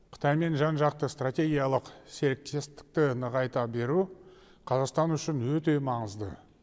қытаймен жан жақты стратегиялық серіктестікті нығайта беру қазақстан үшін өте маңызды